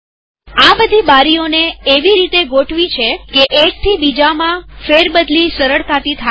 આ બધી બારીઓને એવી રીતે ગોઠવી છે કે એક થી બીજામાં ફેરબદલી સરળતાથી થાય